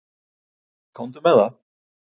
Komdu með það.